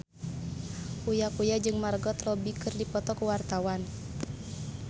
Uya Kuya jeung Margot Robbie keur dipoto ku wartawan